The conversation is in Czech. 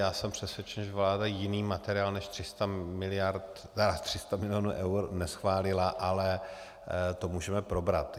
Já jsem přesvědčen, že vláda jiný materiál než 300 mil. eur neschválila, ale to můžeme probrat.